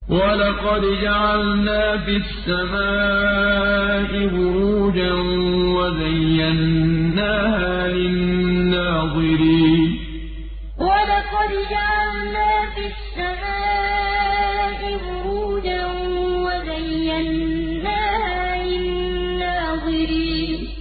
وَلَقَدْ جَعَلْنَا فِي السَّمَاءِ بُرُوجًا وَزَيَّنَّاهَا لِلنَّاظِرِينَ وَلَقَدْ جَعَلْنَا فِي السَّمَاءِ بُرُوجًا وَزَيَّنَّاهَا لِلنَّاظِرِينَ